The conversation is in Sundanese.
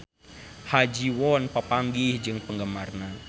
Ha Ji Won papanggih jeung penggemarna